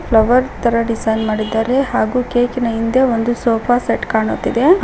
Flower ತರ design ಮಾಡಿದರೆ ಹಾಗೂ ಕೇಕಿ ನ ಹಿಂದೆ ಒಂದು ಸೋಫಾ ಸೆಟ್ ಕಾಣುತ್ತಿದೆ ಆ.